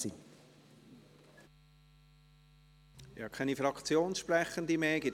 Ich habe keine Fraktionssprechende mehr auf der Liste.